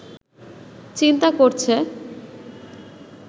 চিন্তা করছে